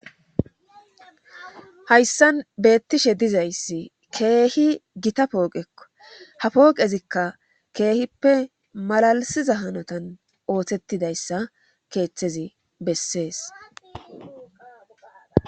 hayssan beettishe dizayssi keehi gita pooqekko ha pooqezikka keehippe malalisiza hanotan ooththettidayssa keeththezi bessees